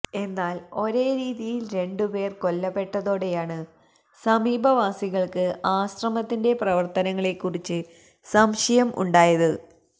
എന്നാല് ഒരേ രീതിയില് രണ്ടു പേര് കൊല്ലപ്പെട്ടതോടെയാണ് സമീപവാസികള്ക്ക് ആശ്രമത്തിന്റെ പ്രവര്ത്തനങ്ങളെക്കുറിച്ച് സംശയം ഉണ്ടായത്